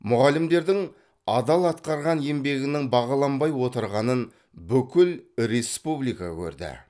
мұғалімдердің адал атқарған еңбегінің бағаланбай отырғанын бүкіл республика көрді